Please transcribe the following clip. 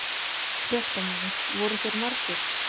Fréttamaður: Voru þeir margir?